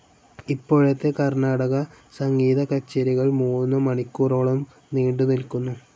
ഇപ്പോഴത്തെ കർണാടകസംഗീതക്കച്ചേരികൾ മൂന്ന് മണിക്കൂറോളം നീണ്ട് നിൽക്കുന്നു.